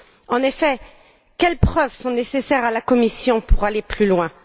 En effet, quelles preuves sont nécessaires à la Commission pour aller plus loin?